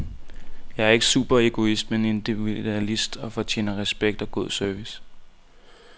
Jeg er ikke superegoist, men individualist og fortjener respekt og god service.